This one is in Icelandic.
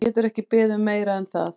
Þú getur ekki beðið um meira en það.